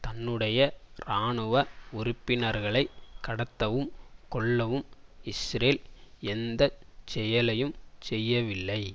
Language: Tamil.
தன்னுடைய இராணுவ உறுப்பினரைகளை கடத்தவும் கொல்லவும் இஸ்ரேல் எந்த செயலையும் செய்யவில்லை